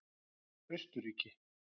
Austurríki